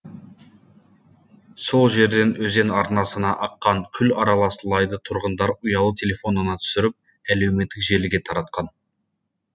сол жерден өзен арнасына аққан күл аралас лайды тұрғындар ұялы телефонына түсіріп әлеуметтік желіге таратқан